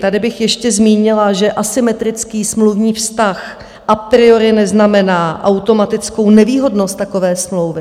Tady bych ještě zmínila, že asymetrický smluvní vztah a priori neznamená automatickou nevýhodnost takové smlouvy.